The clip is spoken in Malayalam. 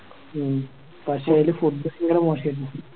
ഉം പക്ഷെ അയില് Food തെരെ മോശായിരുന്നു